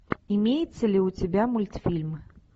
имеется ли у тебя мультфильм